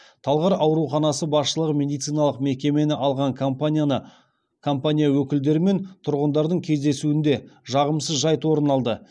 талғар ауруханасы басшылығы медициналық мекемені алған компания өкілдері мен тұрғындардың кездесуінде жағымсыз жайт орын алды